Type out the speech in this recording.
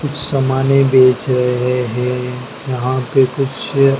सामाने बेच रहे हैं यहां पे कुछ--